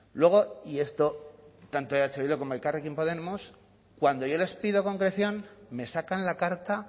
luego y esto tanto eh bildu como elkarrekin podemos cuando yo les pido concreción me sacan la carta